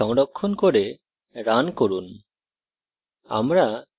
file সংরক্ষণ করে run করুন